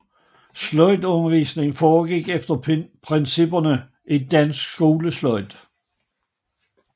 Sløjdundervisningen foregik efter principperne i Dansk Skolesløjd